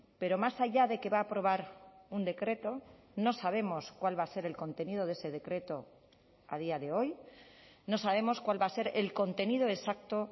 pero más allá de que va a aprobar un decreto no sabemos cuál va a ser el contenido de ese decreto a día de hoy no sabemos cuál va a ser el contenido exacto